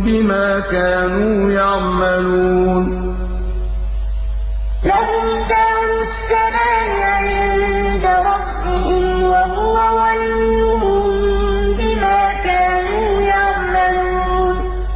بِمَا كَانُوا يَعْمَلُونَ ۞ لَهُمْ دَارُ السَّلَامِ عِندَ رَبِّهِمْ ۖ وَهُوَ وَلِيُّهُم بِمَا كَانُوا يَعْمَلُونَ